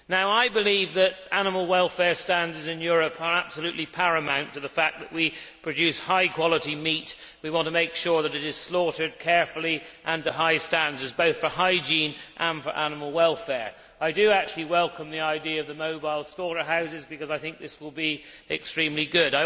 I believe that animal welfare standards in Europe are absolutely paramount to the fact that we produce high quality meat. We want to make sure that it is slaughtered carefully and to high standards, both for hygiene and for animal welfare. I do actually welcome the idea of mobile slaughterhouses, because I think this will be extremely good.